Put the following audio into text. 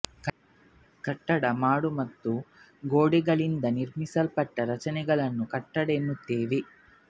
ಕಟ್ಟಡ ಮಾಡು ಮತ್ತು ಗೋಡೆಗಳಿಂದ ನಿರ್ಮಿಸಲ್ಪಟ್ಟ ರಚನೆಗಳನ್ನು ಕಟ್ಟಡ ಎನ್ನುತ್ತೇವೆ